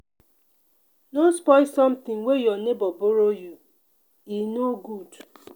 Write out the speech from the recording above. no spoil sometin wey your nebor borrow you e no good.